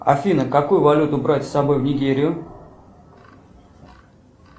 афина какую валюту брать с собой в нигерию